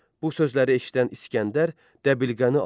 Bu sözləri eşidən İsgəndər dəbilqəni aldı.